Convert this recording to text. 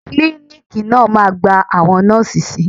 Klíníkì náà máa gba àwọn Nọ́ọ̀sì si.